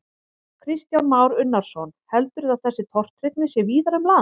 Kristján Már Unnarsson: Heldurðu að þessi tortryggni sé víðar um land?